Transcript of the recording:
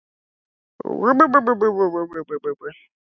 Friðrik reyndi ekki að geta sér til um það.